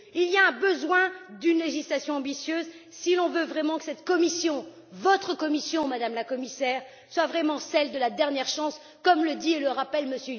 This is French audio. Il y a besoin d'une législation ambitieuse si l'on veut vraiment que cette Commission votre Commission, Madame la Commissaire soit vraiment celle de la dernière chance, comme le dit et le rappelle M.